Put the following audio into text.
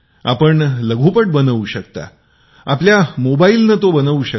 आपण लघुचित्रपट बनवू शकता आपल्या मोबाईने बनवू शकता